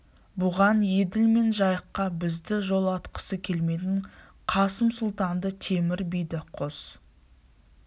бұған еділ мен жайыққа бізді жолатқысы келмейтін қасым сұлтанды темір биді қос